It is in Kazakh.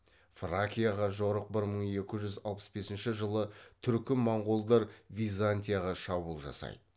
фракияға жорық бір мың екі жүз алпыс бесінші жылы түркі моңғолдар византияға шабуыл жасайды